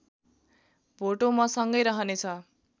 भोटो मसँगै रहनेछ